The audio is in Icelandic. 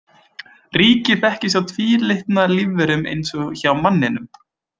Ríki þekkist hjá tvílitna lífverum eins og hjá manninum.